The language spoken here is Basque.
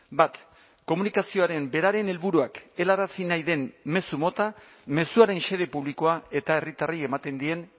bat komunikazioaren beraren helburuak helarazi nahi den mezu mota mezuaren xede publikoa eta herritarrei ematen dien